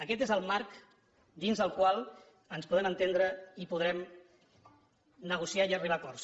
aquest és el marc dins del qual ens podem entendre i podrem negociar i arribar a acords